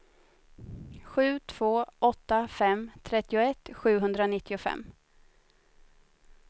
sju två åtta fem trettioett sjuhundranittiofem